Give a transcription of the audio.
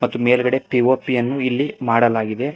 ಈ ಮೇಲ್ಗಡೆ ಪಿ_ಓ_ಪಿ ಯನ್ನು ಇಲ್ಲಿ ಮಾಡಲಾಗಿದೆ.